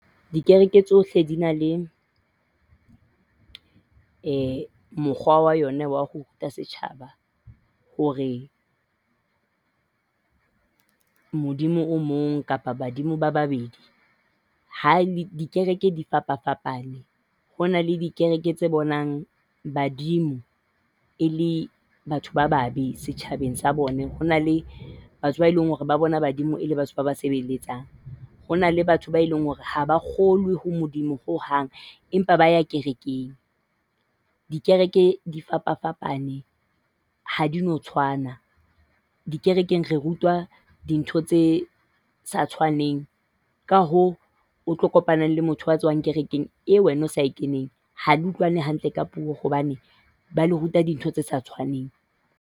Dikereke tsohle di na le mokgwa wa yona wa ho ruta setjhaba hore Modimo o mong kapa badimo ba babedi. Ha le dikereke di fapafapane. Ho na le dikereke tse bonang badimo e le batho ba babe setjhabeng sa bona. Ho na le batho bao e leng hore ba bona badimo e le batho ba ba sebeletsang. Ho na le batho ba e leng hore ha ba kgolwe ho Modimo ho hang empa ba ya kerekeng. Dikereke di fapafapane, ha di no tshwana. Dikerekeng re rutwa dintho tse sa tshwaneng ka hoo o tlo kopana le motho a tswang kerekeng e wena o sa e keneng. Ha le utlwane hantle ka puo hobane ba le ruta dintho tse sa tshwaneng.